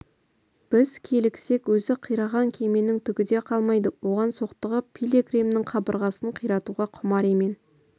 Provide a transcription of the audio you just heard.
біз киліксек өзі қираған кеменің түгі де қалмайды оған соқтығып пилигримнің қабырғасын қиратуға құмар емен